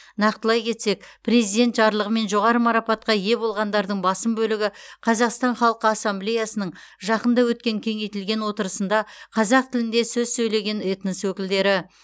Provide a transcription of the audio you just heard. нақтылай кетсек президент жарлығымен жоғары марапатқа ие болғандардың басым бөлігі қазақстан халқы ассамблеясының жақында өткен кеңейтілген отырысында қазақ тілінде сөй сөйлеген этнос өкілдері